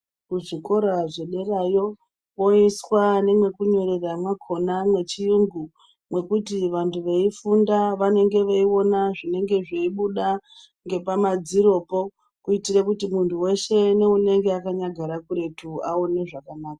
Kuzvikora zvederayo, kwoiswa nemwekunyorera mwakhona mwechiyungu, mwekuti vanhu veifunda vanenge veiona zvinobuda pamadziropo, kuitire kuti muntu weshe neunenge akanyagara kuretu, aone zvakanaka.